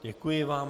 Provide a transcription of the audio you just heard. Děkuji vám.